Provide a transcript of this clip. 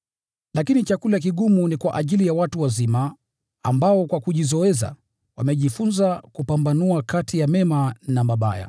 Lakini chakula kigumu ni kwa ajili ya watu wazima, ambao kwa kujizoeza wamejifunza kupambanua kati ya mema na mabaya.